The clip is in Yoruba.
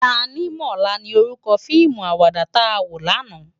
Tánimòlá ni órúkò fiimú àwàdá tá wó làná